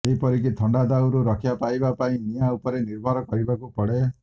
ଏପରିକି ଥଣ୍ଡା ଦାଉରୁ ରକ୍ଷା ପାଇବାକୁ ନିଆଁ ଉପରେ ନିର୍ଭର କରିବାକୁ ପଡ଼େ